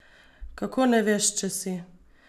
Kako ne veš, če si?